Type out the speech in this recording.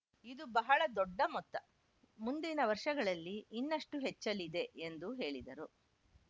ಇದು ಬಹಳ ದೊಡ್ಡ ಮೊತ್ತ ಮುಂದಿನ ವರ್ಷಗಳಲ್ಲಿ ಇನ್ನಷ್ಟುಹೆಚ್ಚಲಿದೆ ಎಂದೂ ಹೇಳಿದರು